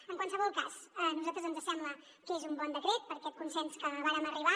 en qualsevol cas a nosaltres ens sembla que és un bon decret per aquest consens a què vàrem arribar